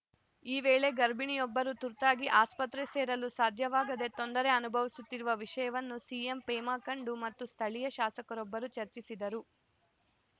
ಈ ವೇಳೆ ಗರ್ಭಿಣಿಯೊಬ್ಬರು ತುರ್ತಾಗಿ ಆಸ್ಪತ್ರೆ ಸೇರಲು ಸಾಧ್ಯವಾಗದೇ ತೊಂದರೆ ಅನುಭವಿಸುತ್ತಿರುವ ವಿಷಯವನ್ನು ಸಿಎಂ ಪೆಮಾ ಖಂಡು ಮತ್ತು ಸ್ಥಳೀಯ ಶಾಸಕರೊಬ್ಬರು ಚರ್ಚಿಸಿದ್ದರು